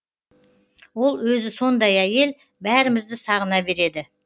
ол өзі сондай әйел бәрімізді сағына береді